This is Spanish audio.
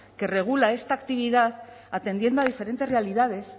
que regula esta actividad atendiendo a diferentes realidades